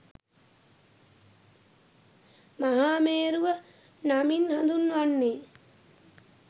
මහාමේරුව නමින් හඳුන්වන්නේ